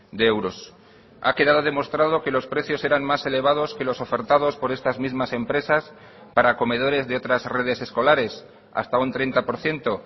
de euros ha quedado demostrado que los precios eran más elevados que los ofertados por estas mismas empresas para comedores de otras redes escolares hasta un treinta por ciento